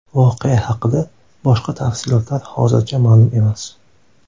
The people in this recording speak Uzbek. Voqea haqida boshqa tafsilotlar hozircha ma’lum emas.